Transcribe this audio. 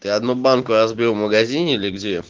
ты одну банку разбил в магазине или где